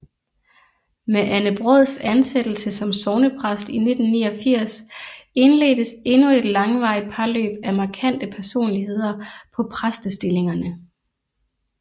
Med Anne Braads ansættelse som sognepræst i 1989 indledtes endnu et langvarigt parløb af markante personligheder på præstestillingerne